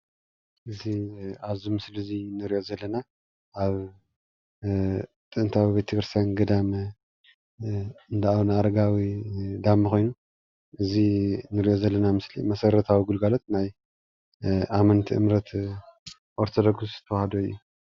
እዚ ኣብዚ ምስሊ እዚ እንሪኦ ዘለና ኣብ ጥንታዊ ቤተክርስትያን ገዳም እንዳ ኣቡነ ኣረጋዊ ዳሞ ኮይኑ፣ እዚ ንሪኦ ዘለና ምስሊ መሰረታዊ ግልጋሎት ናይ ኣመንቲ እምነት ኦርቶዶክስ ተዋህዶ እዩ፡፡